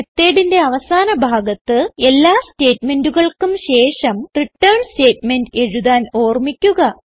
Methodന്റെ അവസാന ഭാഗത്ത് എല്ലാ സ്റ്റേറ്റ്മെന്റുകൾക്കും ശേഷം റിട്ടേൺ സ്റ്റേറ്റ്മെന്റ് എഴുതാൻ ഓർമിക്കുക